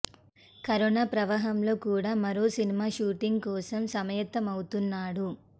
corona ప్రవాహంలో కూడా మరో సినిమా షూటింగ్ కోసం సమాయత్తమవుతున్నాడు